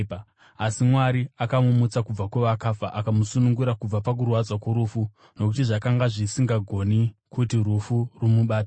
Asi Mwari akamumutsa kubva kuvakafa, akamusunungura kubva pakurwadza kworufu, nokuti zvakanga zvisingagoni kuti rufu rumubate.